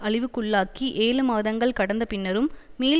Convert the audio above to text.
அழிவுக்குள்ளாக்கி ஏழு மாதங்கள் கடந்த பின்னரும் மீள்